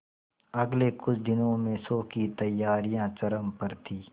अगले कुछ दिनों में शो की तैयारियां चरम पर थी